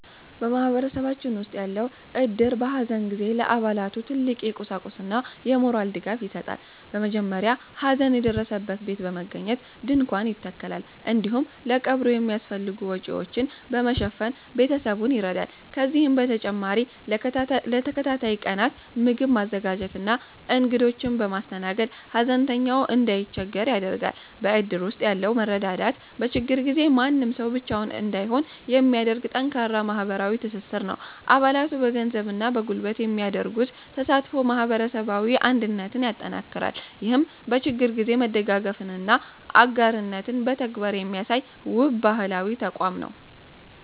በማህበረሰባችን ውስጥ ያለው እድር፣ በሐዘን ጊዜ ለአባላቱ ትልቅ የቁሳቁስና የሞራል ድጋፍ ይሰጣል። በመጀመሪያ ሐዘን በደረሰበት ቤት በመገኘት ድንኳን ይተከላል፤ እንዲሁም ለቀብሩ የሚያስፈልጉ ወጪዎችን በመሸፈን ቤተሰቡን ይረዳል። ከዚህም በተጨማሪ ለተከታታይ ቀናት ምግብ በማዘጋጀትና እንግዶችን በማስተናገድ፣ ሐዘንተኛው እንዳይቸገር ያደርጋል። በእድር ውስጥ ያለው መረዳዳት፣ በችግር ጊዜ ማንም ሰው ብቻውን እንዳይሆን የሚያደርግ ጠንካራ ማህበራዊ ትስስር ነው። አባላቱ በገንዘብና በጉልበት የሚያደርጉት ተሳትፎ ማህበረሰባዊ አንድነትን ያጠናክራል። ይህም በችግር ጊዜ መደጋገፍንና አጋርነትን በተግባር የሚያሳይ፣ ውብ ባህላዊ ተቋም ነው።